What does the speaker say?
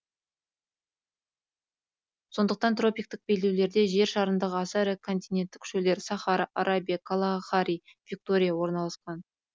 сондықтан тропиктік белдеулерде жер шарындағы аса ірі континенттік шөлдер сахара арабия калахари виктория орналасқан